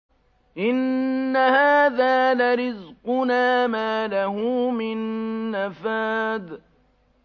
إِنَّ هَٰذَا لَرِزْقُنَا مَا لَهُ مِن نَّفَادٍ